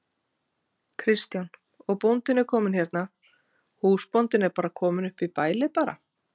Kristján: Og bóndinn er kominn hérna, húsbóndinn er kominn upp í bælið bara?